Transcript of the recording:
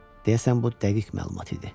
Deyəsən bu dəqiq məlumat idi.